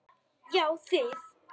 Já þið!